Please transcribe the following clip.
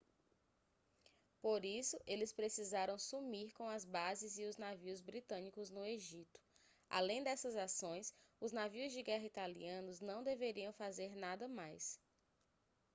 por isso eles precisaram sumir com as bases e os navios britânicos no egito além dessas ações os navios de guerra italianos não deveriam fazer nada mais